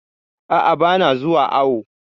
A'a, ba na zuwa awo